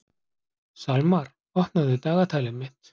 Salmar, opnaðu dagatalið mitt.